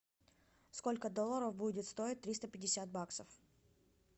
сколько долларов будет стоить триста пятьдесят баксов